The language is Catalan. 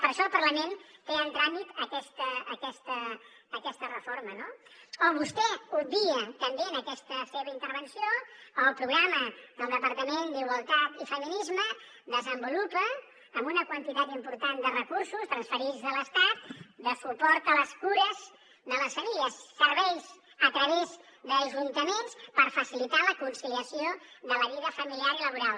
per això el parlament té en tràmit aquesta reforma no o vostè obvia també en aquesta seva intervenció el programa que el departament d’igualtat i feminismes desenvolupa amb una quantitat important de recursos transferits de l’estat de suport a les cures de les famílies serveis a través d’ajuntaments per facilitar la conciliació de la vida familiar i laboral